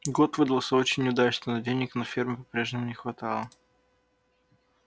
год выдался очень удачный но денег на ферме по-прежнему не хватало